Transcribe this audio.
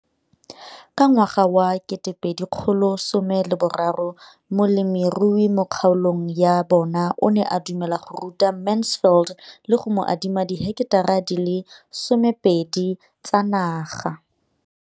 Ka ngwaga wa 2013, molemirui mo kgaolong ya bona o ne a dumela go ruta Mansfield le go mo adima di heketara di le 12 tsa naga.